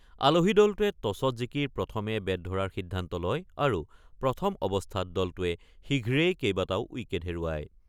আলহী দলটোৱে টছত জিকি প্ৰথমে বেট ধৰাৰ সিদ্ধান্ত লয় আৰু প্ৰথম অৱস্থাত দলটোৱে শীঘ্ৰেই কেইবাটাও উইকেট হেৰুৱায়।